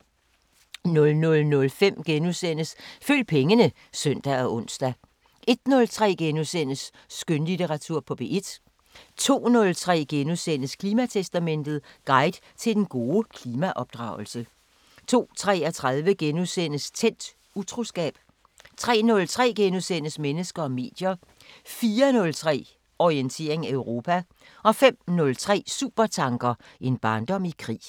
00:05: Følg pengene *(søn og ons) 01:03: Skønlitteratur på P1 * 02:03: Klimatestamentet: Guide til den gode klimaopdragelse * 02:33: Tændt: Utroskab * 03:03: Mennesker og medier * 04:03: Orientering Europa 05:03: Supertanker: En barndom i krig